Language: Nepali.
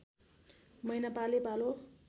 महिना पालैपालो